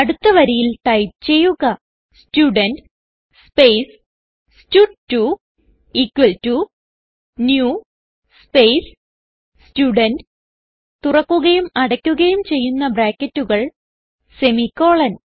അടുത്ത വരിയിൽ ടൈപ്പ് ചെയ്യുക സ്റ്റുഡെന്റ് സ്പേസ് സ്റ്റഡ്2 equal to new space student തുറക്കുകയും അടക്കുകയും ചെയ്യുന്ന ബ്രാക്കറ്റുകൾ സെമിക്കോളൻ